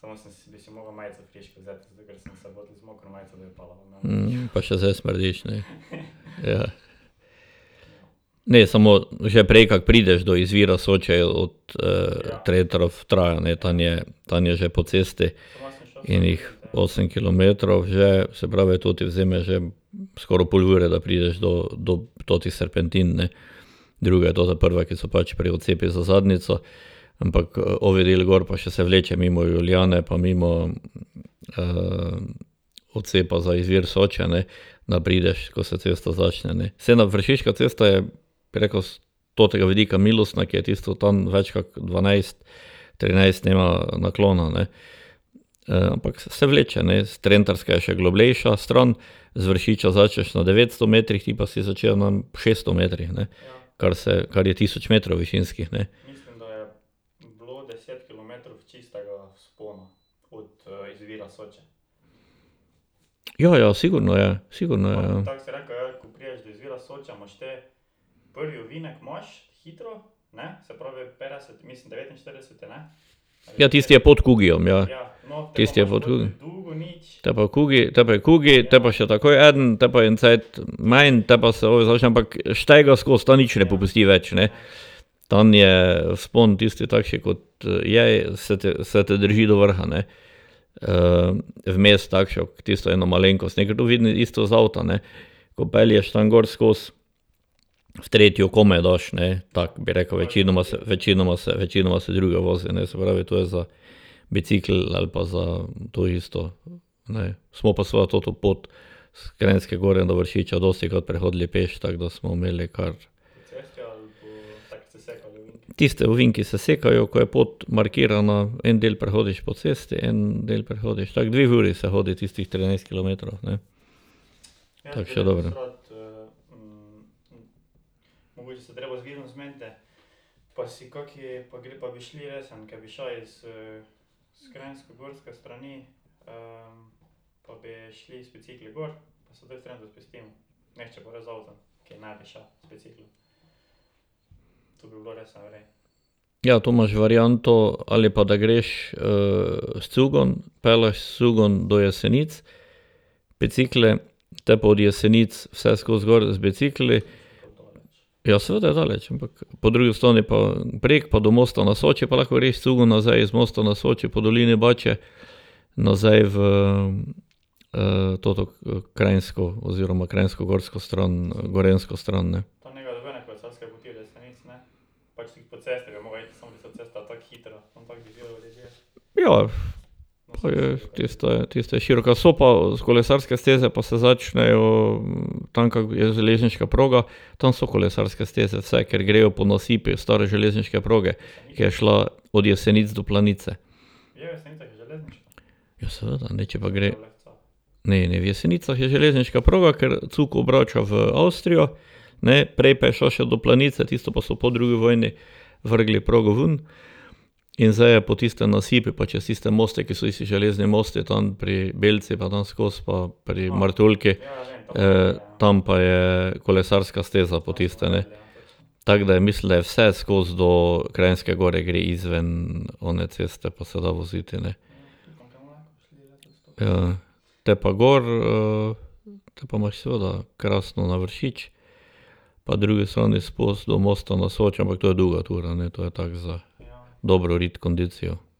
gor vozil? pa še zdaj smrdiš, ne. Ja. Ne, samo, že prej, kak prideš do izvira Soče, je od , ne, tam je, tam je že po cesti ene osem kilometrov že, se pravi, to ti vzame že skoraj pol ure, da prideš do, do totih serpentin, ne. Druga je tota prva, ki se pač prej odcepi za Zadnjico, ampak ovi del gor pa se še vleče mimo Julijane pa mimo, odcepa za izvir Soče, ne, da prideš, ko se cesta začne, ne, saj na vršiška cesta je preko s totega vidika milostna, ke je tisto tam več kot dvanajst, trinajst ima naklona, ne. ampak se vleče, ne, trentarska je še globlja stran, z Vršišča začneš na devetsto metrih, ti pa si začel na šeststo metrih, ne. Kar se, kar je tisoč metrov višinskih, ne. Ja, ja, sigurno je, sigurno je, ja. Ja, tisto je pod Kugyjem, ne, a? Tisti je pod Te pa je Kugy, te pa je Kugy, te pa še takoj eden, potem pa je en cajt manj, tam pa se začne, ampak ,ta nič ne popusti več ne. Tam je vzpon, tisti takši, kot je, se te, se te drži do vrha, ne. vmes takšno tisto eno malenkost, ne, ke to vidim isto iz avta, ne. Ko pelješ tam gor skozi, v tretjo komaj daš, ne, tako, bi rekel, večinoma se, večinoma se, večinoma se v drugi vozi, ne, se pravi, to je za bicikel ali pa za to isto, ne. Smo pa seveda toto pot s Kranjske gor do Vršiča dostikrat prehodili peš, tako da smo imeli kar ... Tisti ovinki se sekajo, ko je pot markirana, en del prehodiš po cesti, en del prehodiš, tako dve uri se hodi tistih trinajst kilometrov, ne. Tako še dobro. Ja, to imaš varianto, ali pa da greš s cugom, pelješ s cugom do Jesenic, bicikle, potem pa od Jesenic vse skozi gor z bicikli. Ja, seveda je daleč, ampak po drugi strani pa prek pa do Mosta na Soči pa lahko greš s cugom nazaj iz Mosta na Soči po dolini . Nazaj v toto Kranjsko oziroma krajnskogorsko stran, gorenjsko stran, ne. Ja, pa je, tista je, tista je široka, so pa kolesarske steze, pa se začnejo tam, ka je železniška proga. Tam so kolesarske steze vse, ker grejo po nasipu stare železniške proge, ki je šla od Jesenic do Planice. Ja, seveda, ne, če pa gre ... Ne, ne, v Jesenicah je železniška proga, ker cug obrača v Avstrijo, ne, prej pa je šla še do Planice, tisto pa so drugi vojni vrgli progo vun in zdaj je po tistem nasipu, pa čez tiste moste, ke so isti železni mosti tam pri Belci pa tam skoz pa pri Martuljku, tam pa je kolesarska steza po tiste, ne. Tako da je, mislim, da je vse skozi do Kranjske gore gre izven one ceste pa se da voziti, ne. Ja. Te pa gor, te pa imaš seveda krasno na Vršič, pa drugi strani do Mosta na Soči, ampak to je dolga tura, ne, to je tako za dobro rit, kondicijo.